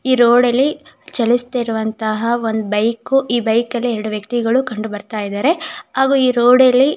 ಈ ರೋಡ್ ಅಲ್ಲಿ ಚಲಿಸದೆ ಇರುವಂತಹ ಒಂದು ಬೈಕ್ ಈ ಬೈಕ್ ಅಲ್ಲಿ ಎರಡು ವ್ಯಕ್ತಿಗಳು ಕಂಡು ಬರ್ತಾ ಇದ್ದಾರೆ ಹಾಗು ಈ ರೋಡ್ ಅಲ್ಲಿ--